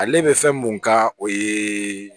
Ale bɛ fɛn mun kan o ye